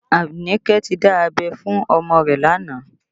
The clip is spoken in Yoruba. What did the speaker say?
Anike ti dá abẹ́ fún ọmọ rẹ̀ lánàá